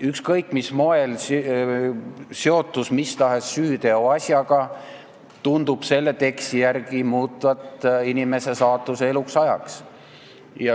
Ükskõik mil moel seotus mis tahes süüteoasjaga tundub selle teksti järgi muutvat inimese saatust eluks ajaks.